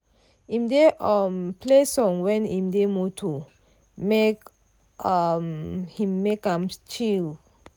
im dey um play song when im dey moto make um him take am chill.